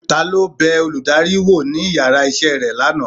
talo bẹ olùdarí wọ ní ìyára isé rẹ laná?